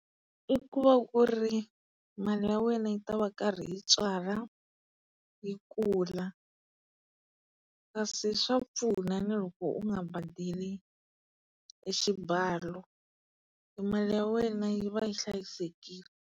I ku va ku ri mali ya wena yi ta va karhi yi tswala, yi kula. Kasi swa pfuna na loko u nga badeli e xibalo, e mali ya wena yi va yi hlayisekile.